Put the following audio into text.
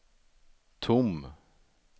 tom